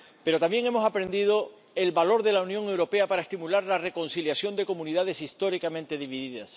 Pero también hemos aprendido el valor de la Unión Europea para estimular la reconciliación de comunidades históricamente divididas.